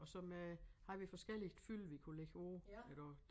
Og så med havde vi forskelligt fyld vi kunne lægge på iggå